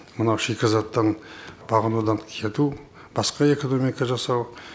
мынау шикізаттың бағынудан кету басқа экономика жасау